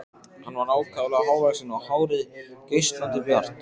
Hann var ákaflega hávaxinn og hárið geislandi bjart.